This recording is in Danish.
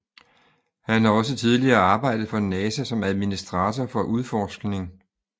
Han har også tidligere arbejdet for NASA som administator for udforskning